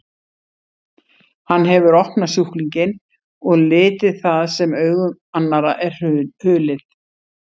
Hann hefur opnað sjúklinginn og litið það sem augum annarra er hulið.